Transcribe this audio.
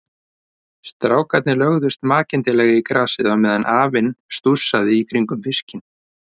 Strákarnir lögðust makindalega í grasið á meðan afinn stússaði í kringum fiskinn.